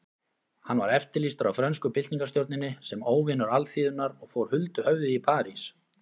Hann var eftirlýstur af frönsku byltingarstjórninni sem óvinur alþýðunnar og fór huldu höfði í París.